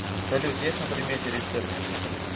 салют есть на примете рецепты